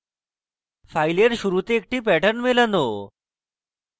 file শুরুতে একটি pattern মেলানো